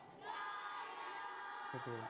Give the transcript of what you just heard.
সেটোয়ে